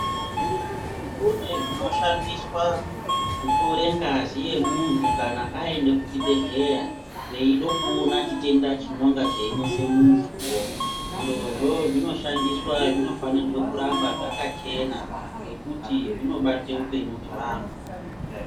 Kune zvinoshandiswa kutore ngazi yemuntu kana aende kuchi bhedhleya veida kuona chitenda chinonga cheinese muntuwo zvirozvo zvinoshandiswa zvinofanirwa kuramba zvakachena ngekuti zvinobate upenyu hwevantu